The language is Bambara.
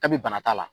Kabi bana t'a la